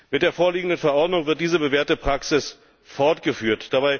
Mit der vorliegenden Verordnung wird diese bewährte Praxis fortgeführt.